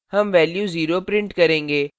हम value 0 print करेंगे